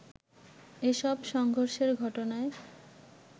এসব সংঘর্ষের ঘটনায়